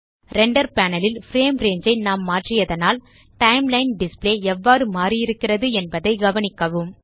render panel ல் frame range ஐ நாம் மாற்றியதனால் டைம்லைன் டிஸ்ப்ளே எவ்வாறு மாறியிருக்கிறது என்பதை கவனிக்கவும்